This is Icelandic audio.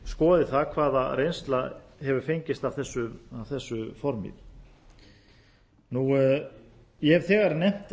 skoði það hvaða reynsla hefur fengist af þessu formi ég hef þegar nefnt